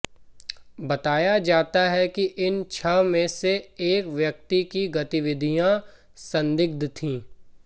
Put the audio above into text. बताया जाता हैं कि इन छह में से एक व्यक्ति की गतिविधियां संदिग्ध थीं